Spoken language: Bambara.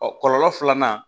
Ɔ kɔlɔlɔ filanan